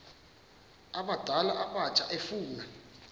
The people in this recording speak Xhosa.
abadala abatsha efuna